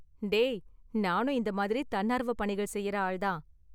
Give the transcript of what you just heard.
டேய், நானும் இந்த மாதிரி தன்னார்வ பணிகள் செய்யுற ஆள் தான்.